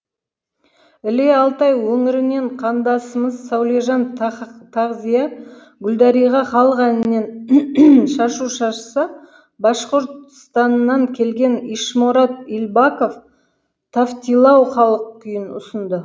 іле алтай өңірінен қандасымыз сәулежан тақзия гүлдариға халық әнінен шашу шашса башқұртстаннан келген ишморат ильбаков тавтилау халық күйін ұсынды